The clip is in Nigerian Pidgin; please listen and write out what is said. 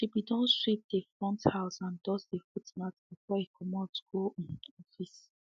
she be don sweep dey front house and dust dey footmat before e comot go um office